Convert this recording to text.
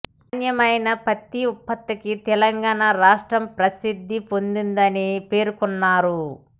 నాణ్యమైన పత్తి ఉత్పత్తికి తెలంగాణ రాష్ట్రం ప్రసిద్ధి పొందిందని పేర్కొన్నారు